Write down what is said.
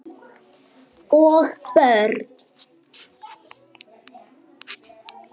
Og börn.